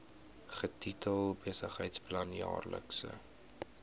getitel besigheidsplan jaarlikse